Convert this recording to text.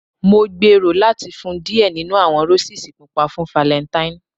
Mo gbero lati fun u diẹ ninu awọn Roses pupa fun Falentaini